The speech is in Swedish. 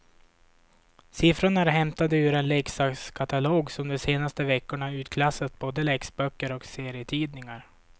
Siffrorna är hämtade ur en leksakskatalog som de senaste veckorna utklassat både läxböcker och serietidningar.